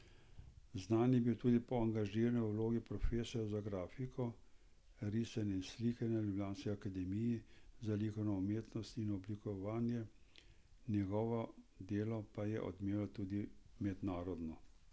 Znan je bil tudi po angažmaju v vlogi profesorja za grafiko, risanje in slikanje na ljubljanski akademiji za likovno umetnost in oblikovanje, njegovo delo pa je odmevalo tudi mednarodno.